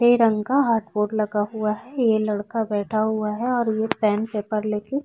रंग का hardboard लगा हुआ है ये लड़का बैठा हुआ है और ये पैन पेपर ले के--